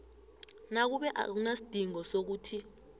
nakube akunasidingo sokuthi